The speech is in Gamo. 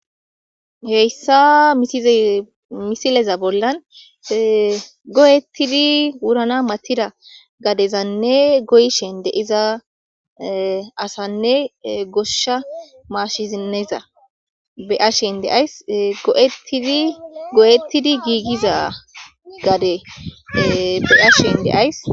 heyssa misileza bollan gogettidi wurana matida gadezanne goyshen de'iza asanne goshsha maashizineza be'ashen de'ays goyettidi giigiza gade beyashen de'ays